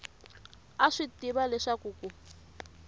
a swi tiva leswaku ku